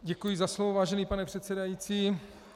Děkuji za slovo, vážený pane předsedající.